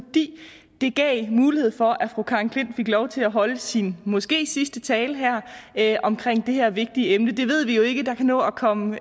det gav mulighed for at fru karen j klint fik lov til at holde sin måske sidste tale her her omkring det her vigtige emne det ved vi jo ikke for der kan nå at komme